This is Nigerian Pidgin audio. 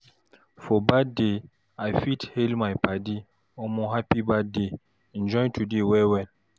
For birthday, I fit hail my padi, "Omo, happy birthday! Enjoy today well well!"